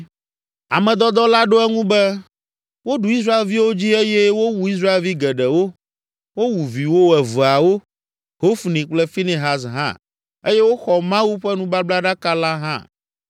Ame dɔdɔ la ɖo eŋu be, “Woɖu Israelviwo dzi eye wowu Israelvi geɖewo, wowu viwò eveawo, Hofni kple Finehas hã eye woxɔ Mawu ƒe nubablaɖaka la hã.”